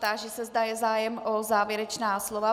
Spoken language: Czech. Táži se, zda je zájem o závěrečná slova.